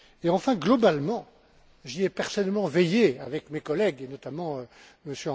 Enfin, globalement, j'y ai personnellement veillé avec mes collègues, notamment M.